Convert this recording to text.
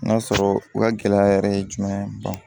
N'a sɔrɔ u ka gɛlɛya yɛrɛ ye jumɛn